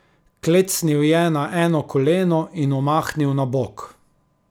Klecnil je na eno koleno in omahnil na bok.